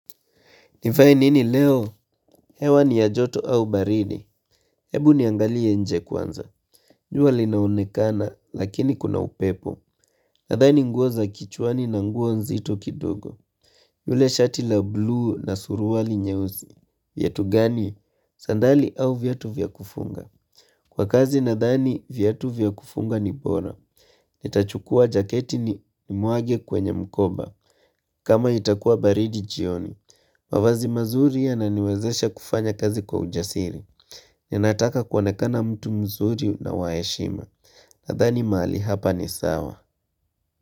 Nivae nini leo? Hewa ni ya joto au baridi. Hebu niangalie nje kwanza. Jua linaonekana lakini kuna upepo. Nadhani nguo za kichuani na nguo nzito kidogo. Yule shati la bluu na suruali nyeusi. Viatu gani? Sandali au viatu vya kufunga. Kwa kazi nadhani vyatu vyakufunga ni bora. Nita chukua jaketi ni mwage kwenye mkoba kama itakuwa baridi jioni mavazi mazuri ya naniwezesha kufanya kazi kwa ujasiri Ninataka kuonekana mtu mzuri na waheshima Nathani mahali hapa ni sawa.